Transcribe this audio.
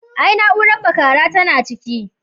Ai na'uran bakara tana daga ciki.